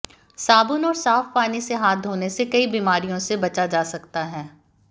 साबुन और साफ पानी से हाथ धोने से कई बीमारियों से बचा जा सकता है